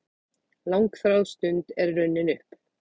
Langþráð stund er runnin upp!